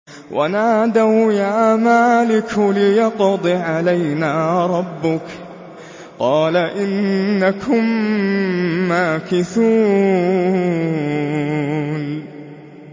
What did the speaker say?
وَنَادَوْا يَا مَالِكُ لِيَقْضِ عَلَيْنَا رَبُّكَ ۖ قَالَ إِنَّكُم مَّاكِثُونَ